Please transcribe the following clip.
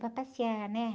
Para passear, né?